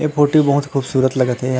ए photo बहुत खूबसूरत लगत हे एहा--